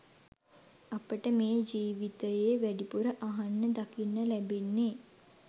අපට මේ ජීවිතයේ වැඩිපුර අහන්න දකින්න ලැබෙන්නේ